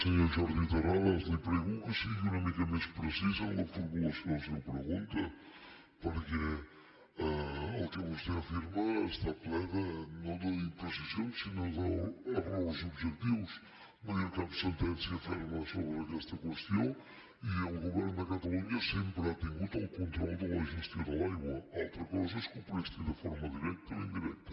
senyor jordi terrades li prego que sigui una mica més precís en la formulació de la seva pregunta perquè el que vostè afirma està ple no d’impre cisions sinó d’errors objectius no hi ha cap sentència ferma sobre aquesta qüestió i el govern de catalunya sempre ha tingut el control de la gestió de l’aigua altra co sa és que ho presti de forma directa o indirecta